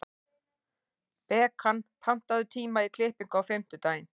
Bekan, pantaðu tíma í klippingu á fimmtudaginn.